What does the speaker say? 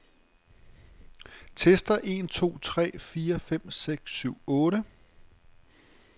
Tester en to tre fire fem seks syv otte.